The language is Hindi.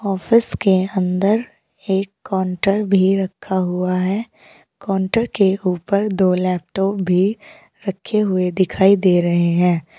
ऑफिस के अंदर एक काउंटर भी रखा हुआ है काउंटर के ऊपर दो लैपटॉप भी रखे हुए दिखाई दे रहे हैं।